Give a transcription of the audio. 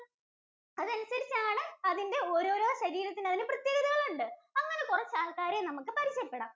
അതനുസരിച്ചാണ് അതിന്‍റെ ഓരോരോ ശരീരത്തിന് അതിന്‍റെ പ്രത്യേകതകൾ ഉണ്ട്. അങ്ങനെ കുറച്ചാൾക്കാരെ നമുക്ക് പരിചയപ്പെടാം.